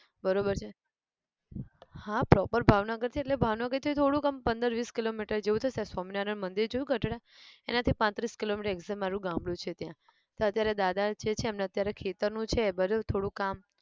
બરોબર છે હા proper ભાવનગર છે એટલે ભાવનગર થી થોડુંક અમ પંદર વીસ kilo meter જેવું થશે સ્વામિનારાયણ મંદિર જોયું ગઢડા એનાથી પાંત્રીસ kilo meter exact મારુ ગામડું છે ત્યાં, તો અત્યારે દાદા જે છે એમને અત્યારે ખેતર નું છે બરોબ થોડું કામ